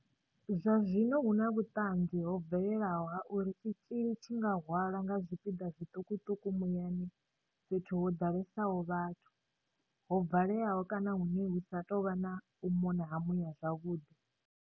Zwazwino hu na vhuṱanzi ho bvelelaho ha uri tshitzhili tshi nga hwalwa nga zwipiḓa zwiṱukuṱuku muyani fhethu ho ḓalesaho vhathu, ho valeaho kana hune hu sa tou vha na u mona ha muya zwavhuḓi.